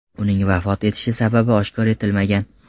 Uning vafot etish sababi oshkor etilmagan.